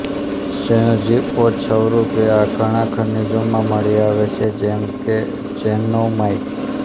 સંયોજિઓત સ્વરૂપે આ ધણાં ખનિજોમાં મળી આવે છે જેમ કે ઝેનોમાઈટ